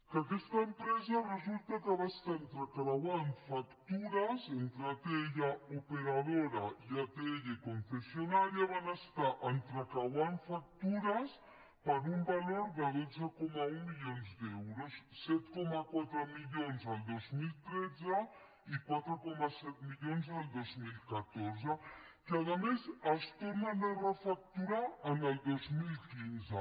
que aquesta empresa resulta que va estar entrecreuant factures entre operadora atll i atll concessionària van estar entrecreuant factures per un valor de dotze coma un milions d’euros set coma quatre milions el dos mil tretze i quatre coma set milions el dos mil catorze que a més es tornen a refacturar el dos mil quinze